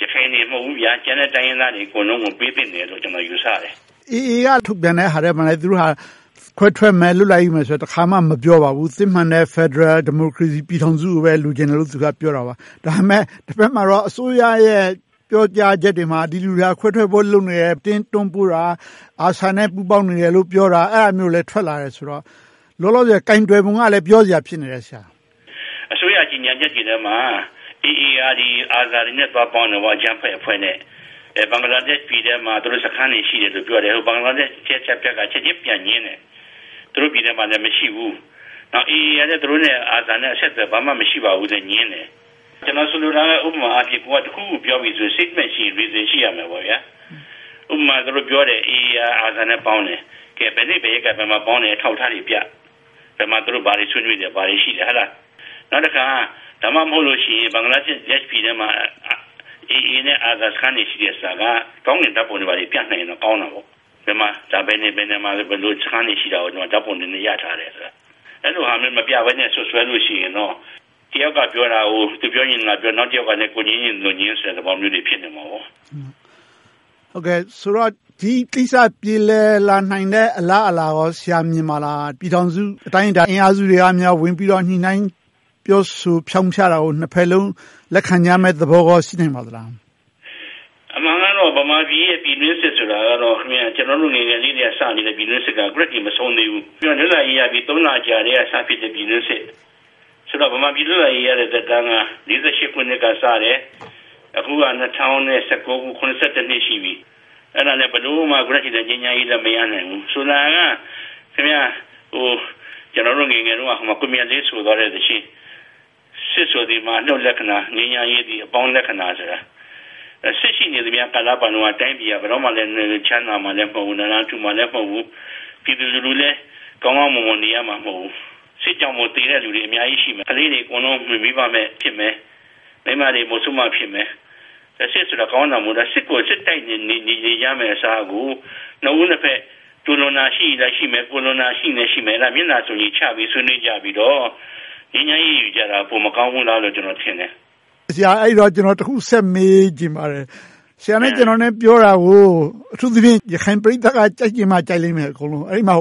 ရခိုင်တွေတင် မဟုတ်ဘူး ကျန်တဲ့တိုင်းရင်းသားတွေ အကုန်လုံး ပေးသင့်တယ်လို့ ကျနော် ယူဆတယ်။ AA က ထုတ်ပြန်တဲ့အထဲမှာလည်း သူတို့ဟာ ခွဲထွက်မယ်၊ လွတ်လပ်ရေး ယူမယ်လို့ တခါမှ မပြောပါဘူး။ စစ်မှန်တဲ့ ဖယ်ဒရယ် ဒီမိုကရေစီပြည်ထောင်စုကိုပဲ လိုချင်တယ်လို့ သူတို့က ပြောတာပါ။ ဒါပေမဲ့ တဘက်မှာတော့ အစိုးရရဲ့ ပြောကြားချက်တွေမှာ ဒီလူတွေက ခွဲထွက်ဖို့လုပ်နေတယ်။ အတင်းတွန်းပို့တာ ARSA နဲ့ ပူးပေါင်းနေတယ်လို့ ပြောတာတွေလည်း ထွက်လာတယ်ဆိုတော့ လောလောဆယ် ကိုင်တွယ်ဖြေရှင်းပုံကလည်း ပြောစရာ ဖြစ်နေတယ်။ အစိုးရကြေညာချက်တွေထဲမှာ AA က ARSA တွေနဲ့ သွားပေါင်းတယ်။ အကြမ်းဖက်အဖွဲ့နဲ့ ဘင်္ဂလားဒေ့ရှ်ပြည်ထဲမှာ စခန်းတွေ ရှိတယ်လို့ပြောတယ်။ ဘင်္ဂလားဒေ့ရှ်က ချက်ချင်းပြန်ငြင်းတယ်။ သူတို့ပြည်ထဲမှာလဲ မရှိဘူး။ AA ကလည်း သူတို့နဲ့ ARSA နဲ့ ဘာမှ အဆက်အသွယ်မရှိဘူးလို့ ငြင်းတယ်။ ကျနော်ဆိုလိုတာက ဥပမာအားဖြင့် ကိုယ်က တခုခုကိုပြောမယ်ဆိုရင်… reasons ရှိရမယ်။ ဥပမာ သူတို့ပြောတယ် AA က ARSA နဲ့ ပေါင်းတယ်။ ဘယ်နေ့ဘယ်ရက်က ဘယ်မှာပေါင်းတယ်ဆိုတာကို အထောက်အထားတွေပြ။ ဘယ်မှာ သူတို့ ဘာတွေဆွေးနွေးတယ်၊ ဘာတွေရှိတယ်ဆိုတာကိုပြ။ နောက်တခါ ဒါမှမဟုတ် ဘင်္ဂလားဒေ့ရှ်ပြည်ထဲမှာ AA နဲ့ ARSA စခန်းတွေ ရှိတယ်ဆိုတာကို ကောင်ကင်ဓါတ်ပုံတွေနဲ့ ပြနိုင်ရင်တော့ ကောင်းတာပေါ့။ ဘယ်နေရာမှာ ဘယ်လိုစခန်းတွေ ရှိတယ်ဆိုတာကို ဓါတ်ပုံတွေနဲ့ ရထားတယ်ဆိုတာကို.. အဲဒီလိုမျိုး မပြနိုင်ဘဲနဲ့ စွပ်စွဲလို့ရှိရင်တော့ တယောက်ပြောတာကို သူပြောချင်သလိုပြော၊ တယောက်ကလဲ ငြင်းချင်သလိုငြင်းဆိုတဲ့ သဘောမျိုးတွေ ဖြစ်နေလိမ့်မယ်။ ဆိုတော့ ဒီကိစ္စ ပြေလည်လာနိုင်မယ့် အလားအလာကော ဆရာ မြင်ပါသလား။ ပြည်ထောင်စု အတိုင်းအတာ အင်အားစုတွေက ဝင်ပြီးတော့ ညှိနှိုင်းပြောဆိုဖြောင့်ဖြတာကို နှစ်ဘက်စလုံး လက်ခံကြမယ့်သဘောကော ရှိပါသလား။ အမှန်ကတော့ ဗမာပြည်ရဲ့ ပြည်တွင်းစစ်ဆိုတာကတော့ ကျနော်တို့ ငယ်ငယ်ကတည်းက စလာတဲ့ ပြည်တွင်းစစ်က အခုထိ မဆုံးသေးဘူး။ လွတ်လပ်ရေးရပြီး လအကြာမှာ စဖြစ်တဲ့ ပြည်တွင်းစစ်။ ဆိုတော့ ဗမာပြည်လွတ်လပ်ရေးရတဲ့ သက်တမ်းက ခုနှစ်ကစတယ်။ အခုက ၂၀၁၉ ခုဆိုတော့ နှစ် ရှိပြီ။ အဲဒါလဲ အခုထက်ထိ ငြိမ်းချမ်းရေးလည်း မရနိုင်သေးဘူး။ ဆိုတာက ကျနော်တို့ငယ်ငယ်တုန်းက ကိုမြတ်လေးဆိုသွားတဲ့ “စစ်ဆိုသည်မှာ အနုတ်လက္ခဏာ၊ ငြိမ်းချမ်းရေးဆိုတာ အပေါင်းလက္ခဏာ” စစ်ရှိနေသမျှကာလပတ်လုံးက တိုင်းပြည်က ဘယ်တော့မှ ချမ်းသာမှာမဟုတ်ဘူး။ နားလန်ထူမှာလည်း မဟုတ်ဘူး။ ပြည်သူလူထုလည်း ကောင်းကောင်းမွန်မွန် နေရမှာ မဟုတ်ဘူး။ စစ်ကြောင့်မို့ သေတဲ့လူတွေ အများကြီးရှိမယ်။ ကလေးတွေ အကုန်လုံး မိဘမဲ့ ဖြစ်မယ်။ မိန်းမတွေ မုဆိုးမတွေ ဖြစ်မယ်။ စစ်ဆိုတာ ကောင်းတာမဟုတ်ဘူး။ စစ်ကို စစ်တိုက်နေကြမယ့်အစားကို နှစ်ဦးနှစ်ဘက် သူလွန်တာရှိရင်ရှိမယ်၊ ကိုယ်လွန်တာရှိရင်လည်း ရှိမယ်။ မျက်နှာစုံညီချပြီးတော့ ဆွေးနွေးကြပြီးတော့ ငြိမ်းချမ်းရေးယူကြတာ မကောင်းဘူးလားလို့ ကျနော်ထင်တယ်။ ကျနော် တခုဆက်မေးချင်ပါတယ်။ ဆရာနဲ့ ကျနော် ပြောတာကို အထူူးသဖြင့် ရခိုင်ပရိသတ်က ကြိုက်ချင်မှ ကြိုက်ကြလိမ့်မယ်။ အဲဒီမှာ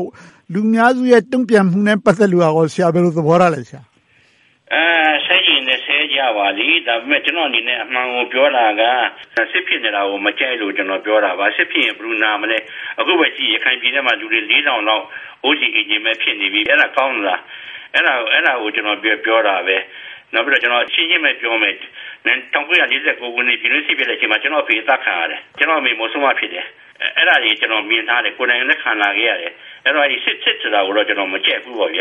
လူအများစုရဲ့ တုံ့ပြန်မှုနဲ့ ပတ်သက်လို့ ဆရာ ဘယ်လိုသဘောထားလဲ။ ဆဲချင်ရင်လဲ ဆဲကြပါစေ။ ဒါပေမဲ့ ကျနော့်အနေနဲ့ အမှန်ကိုပြောတာက စစ်ဖြစ်နေတာကို မကြိုက်လို့ပြောတာပါ။ စစ်ဖြစ်ရင် ဘယ်သူနာမလဲ။ အခုပဲကြည့် ရခိုင်ပြည်ထဲမှာ လူတွေ လေးထောင်လောက် အိုးမဲ့အိမ်မဲ့ ဖြစ်နေပြီ။ အဲဒါ ကောင်းသလား။ အဲဒါကို ကျနော် ပြောတာပါ။ ကျနော် ရှင်းရှင်းပဲပြောမယ် ၁၉၄၉ ခုနှစ် ပြည်တွင်းစစ်ဖြစ်တဲ့အချိန်မှာ ကျနော့်အဖေ အသတ်ခံရတယ်။ ကျနော့်အမေ မုဆိုးမ ဖြစ်တယ်။ အဲဒါတွေ ကျနော် မြင်ထားတယ်။ ကိုယ်တိုင်လည်း ခံလာခဲ့ရတယ်။ အဲဒါကြောင့် စစ်ဆိုတာကိုတော့ ကျနော် မကြိုက်ဘူး။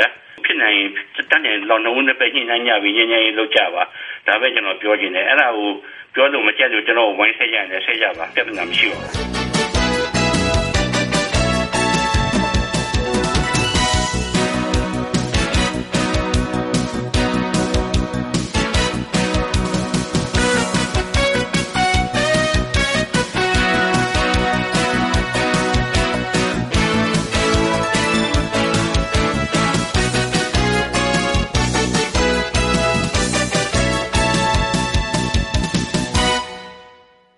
ဖြစ်နိုင်ရင် တတ်နိုင်ရင် နှစ်ဦးနှစ်ဘက် ညှိနှိုင်းကြပြီး ငြိမ်းချမ်းရေး လုပ်ကြပါ။ ဒါပဲ ကျနော် ပြောချင်တယ်။ အဲဒါကို ပြောလို့မကြိုက်လို့ ကျနော်ကို ဝိုင်းပြီးဆဲကြရင်လဲ ဆဲကြပါ ပြဿနာ မရှိပါဘူး။